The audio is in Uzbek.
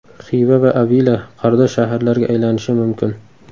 Xiva va Avila qardosh shaharlarga aylanishi mumkin.